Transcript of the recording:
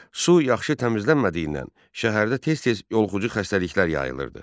Su yaxşı təmizlənmədiyindən şəhərdə tez-tez yoluxucu xəstəliklər yayılırdı.